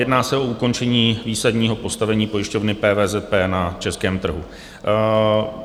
Jedná se o ukončení výsadního postavení pojišťovny PVZP na českém trhu.